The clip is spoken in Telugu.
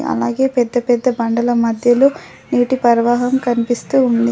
అలాగే పెద్ద పెద్ద బండల మధ్యలో నీటి పర్వాహం కనిపిస్తూ ఉంది.